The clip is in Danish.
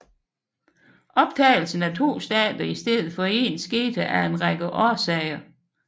Optagelsen af to stater i stedet for én skete af en række årsager